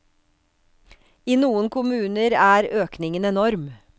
I noen kommuner er økningen enorm.